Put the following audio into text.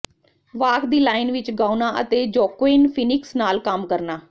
walk the line ਵਿਚ ਗਾਉਣਾ ਅਤੇ ਜੋਕੁਇਨ ਫੀਨੀਕਸ ਨਾਲ ਕੰਮ ਕਰਨਾ